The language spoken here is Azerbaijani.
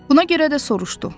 Buna görə də soruşdu.